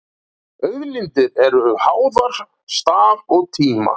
auðlindir eru háðar stað og tíma